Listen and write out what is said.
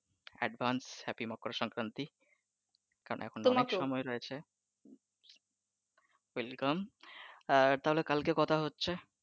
Advance happy Makar Sankranti কারন এখন অনেক সময় রয়েছে, advenced আর তাহলে কালকে কথা হচ্ছে